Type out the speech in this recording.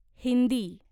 Hindi